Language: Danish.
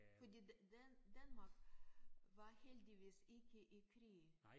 Fordi Dan Danmark var heldigvis ikke i krig